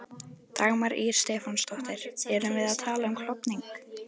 Dagmar Ýr Stefánsdóttir: Erum við að tala um klofning?